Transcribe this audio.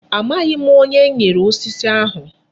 Amaghị m. Onye m nyere osisi ahụ.